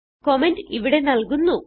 comment ഇവിടെ നല്കുന്നു